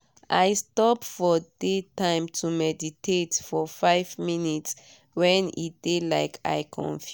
i stop for day time to meditate for five minutes when e dey like i confused.